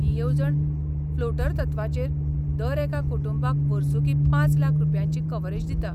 ही येवजण फ्लोटर तत्वाचेर दर एका कुटुंबाक वर्सुकी पांच लाख रुपयांची कव्हरेज दिता.